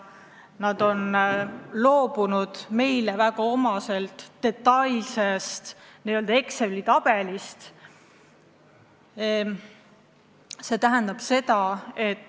Nad on loobunud meile väga omasest detailsest n-ö Exceli tabelist.